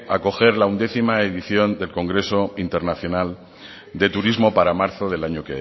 acoger la once edición del congreso internacional de turismo para marzo del año